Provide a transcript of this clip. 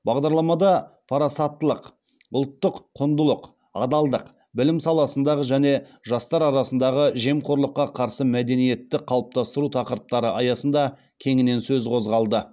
бағдарламада парасаттылық ұлттық құндылық адалдық білім саласындағы және жастар арасындағы жемқорлыққа қарсы мәдениетті қалыптастыру тақырыптары аясында кеңінен сөз қозғалды